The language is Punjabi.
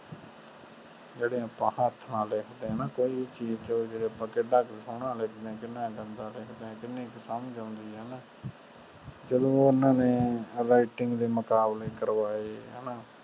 ਜੇੜੇ ਆਪਾਂ ਹੱਥ ਨਾਲ ਲਿਖਦੇ ਆ ਨਾ ਕੋਈ ਚੀਜ ਜੋ ਜੇੜੇ ਆਪਾ ਕਿਡਾ ਕ ਸੋਹਣਾ ਲਿਖਦੇ ਆ ਕਿੰਨਾਂ ਗੰਦਾ ਲਿਖਦੇ ਆ ਕੀਨੀ ਕ ਸਮਝ ਆਉਂਦੀ ਆ ਹਣਾ ਜਦੋ ਓਹਨਾ ਨੇ writing ਦੇ ਮੁਕਾਬਲੇ ਕਰਵਾਏ